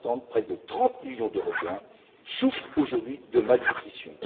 près de 30 millions d'Européens souffrent aujourd'hui de malnutrition.